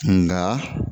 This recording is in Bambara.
Nga